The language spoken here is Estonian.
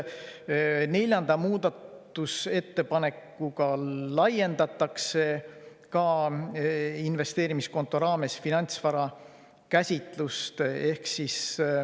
Neljanda muudatusettepanekuga laiendatakse investeerimiskonto raames finantsvara käsitlust.